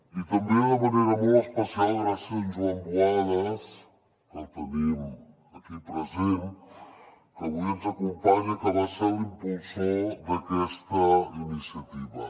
i també de manera molt especial gràcies a en joan buades que el tenim aquí present que avui ens acompanya que va ser l’impulsor d’aquesta iniciativa